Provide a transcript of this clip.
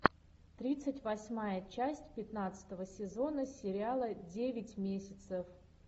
тридцать восьмая часть пятнадцатого сезона сериала девять месяцев